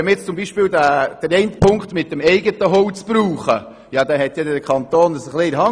Wenn wir zum Beispiel die Auflage 3 zur Benutzung des eigenen Holzes betrachten, so hat es der Kanton in der Hand.